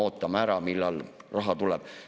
Ootame ära, millal raha tuleb.